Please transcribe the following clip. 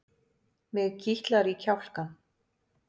Mig kitlar í kjálkann.